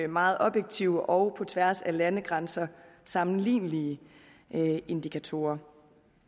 meget objektive og på tværs af landegrænser sammenlignelige indikatorer